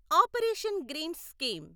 operation greens scheme